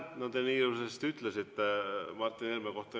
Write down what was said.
No te nii ilusasti ütlesite Martin Helme kohta.